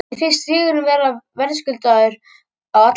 Mér fannst sigurinn vera verðskuldaður á allan hátt.